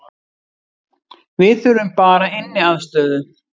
Við þurfum bara inniaðstöðu